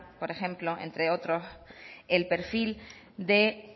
por ejemplo entre otros el perfil de